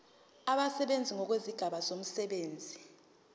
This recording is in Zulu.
abasebenzi ngokwezigaba zomsebenzi